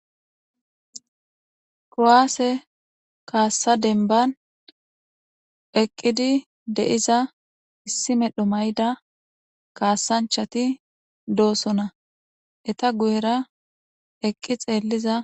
Kuwasse kassa dembban eqqidi deiza issi medhdho mayida kasanchchati doossona eeta guyera eqqi xelliza----